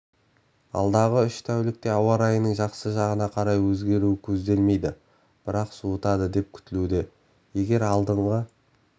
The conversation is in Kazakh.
алдағы үш тәулікте ауа-райының жақсы жағына қарай өзгеруі көзделмейді бірақ суытады деп күтілуде егер алдыңғы